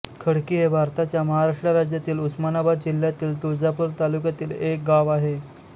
खडकी हे भारताच्या महाराष्ट्र राज्यातील उस्मानाबाद जिल्ह्यातील तुळजापूर तालुक्यातील एक गाव आहे